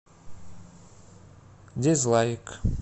дизлайк